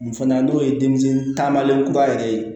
Nin fana n'o ye denmisɛnnin taamalen kura yɛrɛ ye